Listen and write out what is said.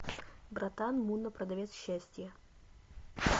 братан мунна продавец счастья